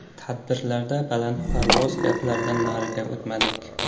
Tadbirlarda balandparvoz gaplardan nariga o‘tmadik.